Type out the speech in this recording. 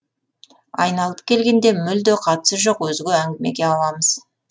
айналып келгенде мүлде қатысы жоқ өзге әңгімеге ауамыз